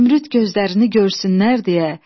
Zümrüd gözlərini görsünlər deyə,